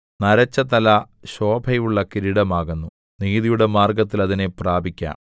നരച്ച തല ശോഭയുള്ള കിരീടമാകുന്നു നീതിയുടെ മാർഗ്ഗത്തിൽ അതിനെ പ്രാപിക്കാം